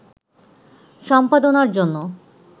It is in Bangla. সম্পাদনার জন্য